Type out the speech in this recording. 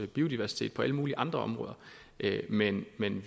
biodiversitet på alle mulige andre områder men men